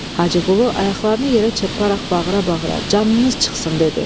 Hacıqulu ayaqlarını yerə çırparaq bağıra-bağıra canınız çıxsın dedi.